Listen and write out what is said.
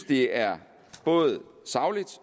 det er både sagligt